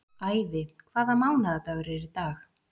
Ævi, hvaða mánaðardagur er í dag?